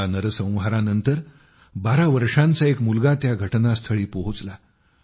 या नरसंहारानंतर बारा वर्षांचा एक मुलगा त्या घटनास्थळी पोहोचला